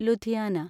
Ludhiana